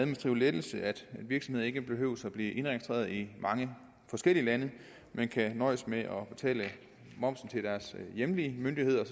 lettelse at virksomheder ikke behøver at blive indregistreret i mange forskellige lande men kan nøjes med at betale momsen til deres hjemlige myndigheder